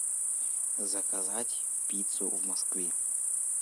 заказать пиццу в москве